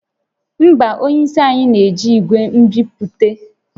Mba, onye isi anyị na-eji igwe nbipute